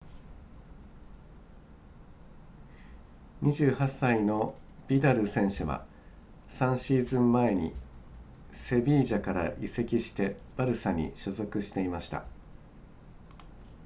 28歳のビダル選手は3シーズン前にセビージャから移籍してバルサに所属していました